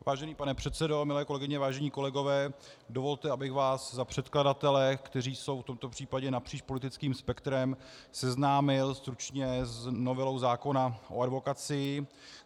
Vážený pane předsedo, milé kolegyně, vážení kolegové, dovolte, abych vás za předkladatele, kteří jsou v tomto případě napříč politickým spektrem, seznámil stručně s novelou zákona o advokacii.